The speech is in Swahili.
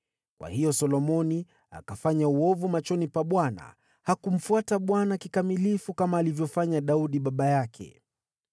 Kwa hiyo Solomoni akafanya uovu machoni pa Bwana ; hakumfuata Bwana kikamilifu kama alivyofanya Daudi baba yake.